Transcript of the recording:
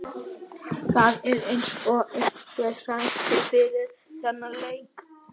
Það er eins og einhver sagði fyrir þennan leik.